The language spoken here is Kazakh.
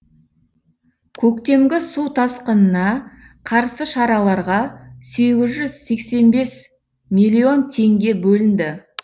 көктемгі су тасқынына қарсы шараларға сегіз жүз сексен бес миллион теңге бөлінді